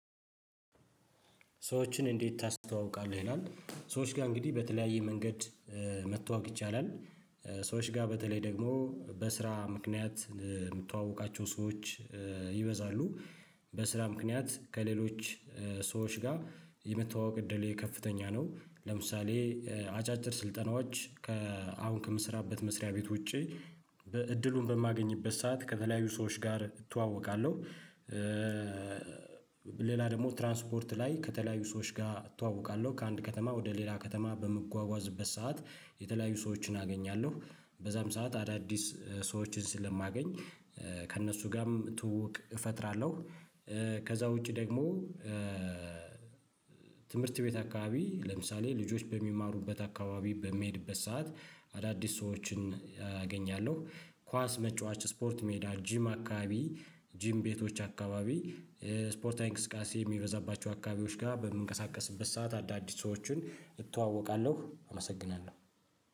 ስዎችን እንዴት? ታስተዋውቃለህ ይላል ሰዎች ጋር እንግዲህ በተለያየ መንገድ መተዋወቅ ይቻላል ሰዎች ጋር በተለይ ደግሞ በስራ ምክንያት የምተዋወቃቸው ሰዎች ይበዛሉ በስራ ምክንያት ከሌሎች ሰዎች ጋር የመተዋወቅ እድሌ ከፍተኛ ነው ለምሳሌ አጫጭር ስልጠናዎች ከአሁን ከምሰራበት መስሪያ ቤት ውጪ እድሉን በማገኝበት ሰዓት ከተለያዩ ሰዎች ጋር እተዋወቃለው። ሌላ ደግሞ ትራንስፖርት ላይ ከተለያዩ ሰዎች ጋር እተዋወቃለው ከአንድ ከተማ ወደ ሌላ ከተማ በምጓጓዝበት ሰዓት የተለያዩ ሰዎችን አገኛለው በዛም ሰዓት አዳዲስ ሰዎችን ስለማገኝ ከእነሱ ጋርም ትውውቅ እፈጥራለው። ከዛ ውጪ ደግሞ ትምህርት ቤት አከባቢ ለምሳሌ ልጆች በሚማሩበት አከባቢ በምሄድበት ሰዓት አዳዲስ ሰዎችን አገኛለው ኳስ መጫወት ስፖርት ሜዳ ጂም አከባቢ ጂም ቤቶች አከባቢ ስፖርታዊ እንቅስቃሴ የሚበዛባቸው አከባቢዎች ጋር በምንቀሳቀስበት ሰዓት አዳዲስ ሰዎችን እተዋወቃለው። አመሰግናለው